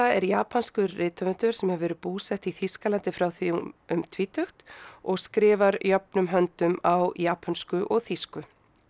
er japanskur rithöfundur sem hefur verið búsett í Þýskalandi frá því um tvítugt og skrifar jöfnum höndum á japönsku og þýsku